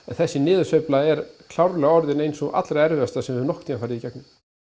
þessi niðursveifla er klárlega orðin ein sú allra erfiðasta sem við höfum nokkurn tímann farið í gegnum